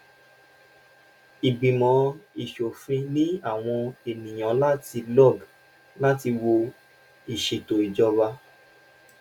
ìgbimọ ìsòfin ní àwọn ènìyàn láti log láti wò ìsètò ìjọba